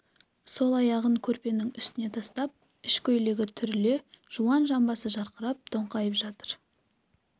сол аяғын көрпенің үстіне тастап ішкөйлегі түріле жуан жамбасы жарқырап тоңқайып жатыр